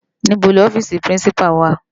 Nibó ni òfisi Pirinsipá wá?